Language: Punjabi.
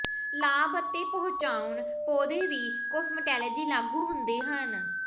ਲਾਭ ਅਤੇ ਪਹੁੰਚਾਉਣ ਪੌਦੇ ਵੀ ਕੋਸਮਟੋਲੋਜੀ ਲਾਗੂ ਹੁੰਦੇ ਹਨ